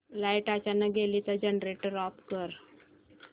light अचानक गेली तर जनरेटर ऑफ कर